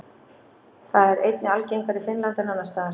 Það er einnig algengara í Finnlandi en annars staðar.